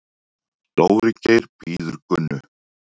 Dóri Geir bíður Gunnu.